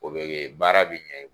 O be ke baara be ɲɛ